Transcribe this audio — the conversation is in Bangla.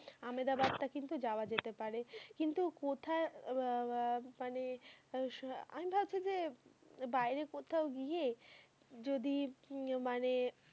আমেদাবাদ টা কিন্তু যাওয়া যেতে পারে কিন্তু কোথায় আঃ আঃ মানে আমি ভাবছি যে বাইরে কোথাও গিয়ে যদি মানে,